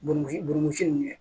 Buranci burumusi nunnu